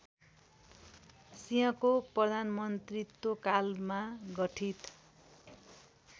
सिंहको प्रधानमन्त्रीत्वकालमा गठित